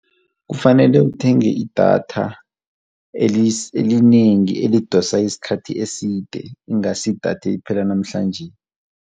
Kufanele uthenge idatha elinengi elidosa isikhathi eside ingasi idatha eliphela namhlanje.